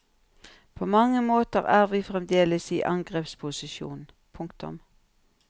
På mange måter er vi fremdeles i angrepsposisjon. punktum